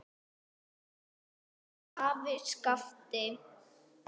Elsku afi Skafti.